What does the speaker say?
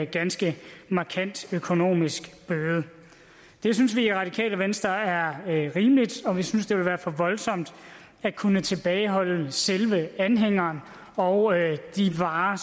ganske markant økonomisk bøde det synes vi i radikale venstre er rimeligt og vi synes det vil være for voldsomt at kunne tilbageholde selve anhængeren og de varer